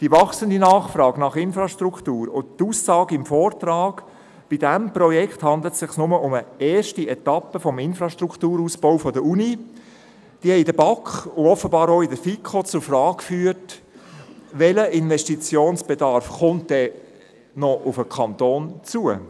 Die wachsende Nachfrage nach Infrastruktur und die Aussage im Vortrag, bei diesem Projekt handle es sich nur um eine erste Etappe des Infrastrukturausbaus der Universität, haben in der BaK und offenbar auch in der FiKo zur Frage geführt, welcher Investitionsbedarf dann noch auf den Kanton zukomme.